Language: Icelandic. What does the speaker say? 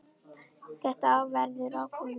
Þetta verður ákveðið mjög fljótt.